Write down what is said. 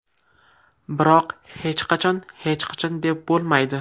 Biroq hech qachon hech qachon deb bo‘lmaydi.